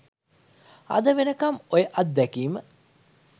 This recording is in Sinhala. අද වෙනකම්ම ඔය අත්දැකීම